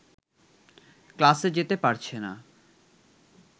ক্লাসে যেতে পারছে না